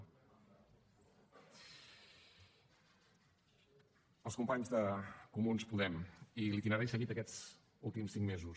als companys d’en comú podem i l’itinerari seguit aquests últims cinc mesos